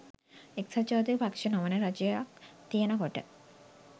එක්සත් ජාතික පක්ෂ නොවන රජයක් තියෙනකොට